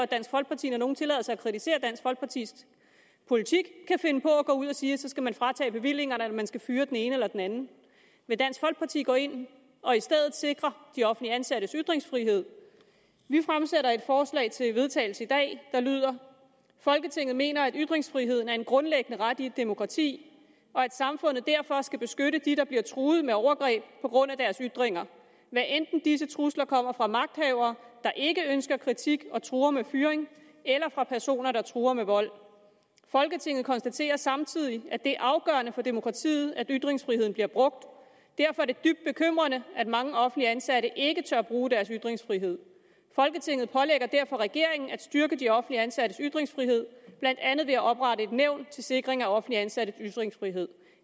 dansk folkeparti når nogen tillader sig at kritisere dansk folkepartis politik kan finde på at gå ud at sige at så skal man fratage bevillingerne eller man skal fyre den ene eller den anden vil dansk folkeparti gå ind og i stedet sikre de offentligt ansattes ytringsfrihed vi fremsætter et forslag til vedtagelse i dag der lyder folketinget mener at ytringsfriheden er en grundlæggende ret i et demokrati og at samfundet derfor skal beskytte de der bliver truet med overgreb på grund af deres ytringer hvad enten disse trusler kommer fra magthavere der ikke ønsker kritik og truer med fyring eller fra personer der truer med vold folketinget konstaterer samtidig at det er afgørende for demokratiet at ytringsfriheden bliver brugt derfor er det dybt bekymrende at mange offentligt ansatte ikke tør bruge deres ytringsfrihed folketinget pålægger derfor regeringen at styrke de offentligt ansattes ytringsfrihed blandt andet ved at oprette et nævn til sikring af offentligt ansattes ytringsfrihed